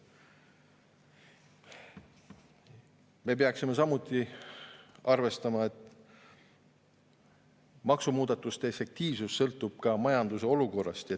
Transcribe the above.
Samuti peaksime arvestama, et maksumuudatuste efektiivsus sõltub ka majanduse olukorrast.